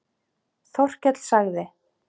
Þórkell sagði